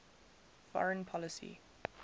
foreign policy